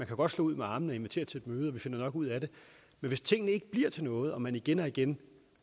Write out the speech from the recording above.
kan godt slå ud med armene og invitere til et møde vi finder nok ud af det men hvis tingene ikke bliver til noget og man igen og igen